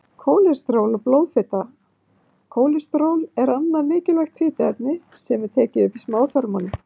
Kólesteról og blóðfita Kólesteról er annað mikilvægt fituefni sem er tekið upp í smáþörmunum.